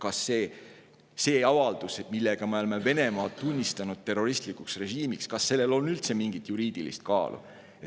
Kas sellel avaldusel, millega me oleme Venemaa tunnistanud terroristlikuks režiimiks, on üldse mingit juriidilist kaalu?